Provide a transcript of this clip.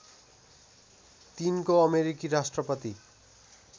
तिनको अमेरिकी राष्ट्रपति